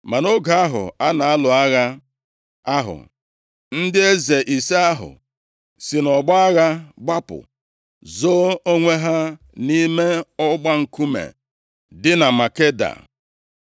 Ma nʼoge ahụ a na-alụ agha ahụ, ndị eze ise ahụ si nʼọgbọ agha gbapụ, zoo onwe ha nʼime ọgba nkume dị na Makeda.